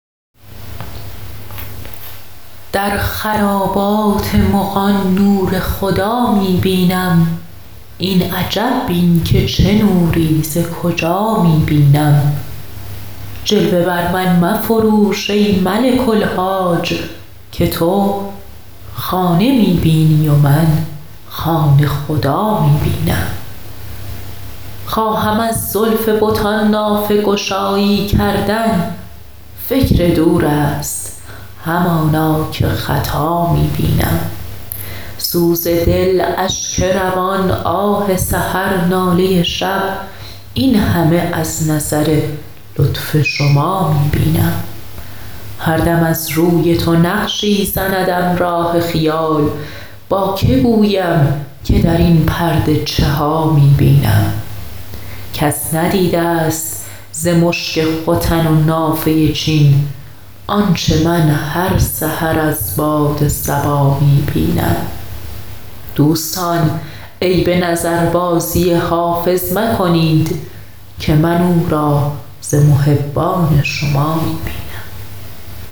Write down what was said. در خرابات مغان نور خدا می بینم این عجب بین که چه نوری ز کجا می بینم جلوه بر من مفروش ای ملک الحاج که تو خانه می بینی و من خانه خدا می بینم خواهم از زلف بتان نافه گشایی کردن فکر دور است همانا که خطا می بینم سوز دل اشک روان آه سحر ناله شب این همه از نظر لطف شما می بینم هر دم از روی تو نقشی زندم راه خیال با که گویم که در این پرده چه ها می بینم کس ندیده ست ز مشک ختن و نافه چین آنچه من هر سحر از باد صبا می بینم دوستان عیب نظربازی حافظ مکنید که من او را ز محبان شما می بینم